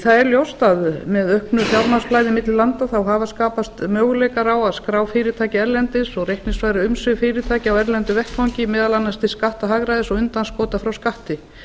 það er ljóst að með auknu fjármagnsflæði milli landa hafa skapast möguleikar á að skrá fyrirtæki erlendis og reikningsfæra umsvif fyrirtækja á erlendum vettvangi meðal annars til skattahagræðis og undanskota frá skatti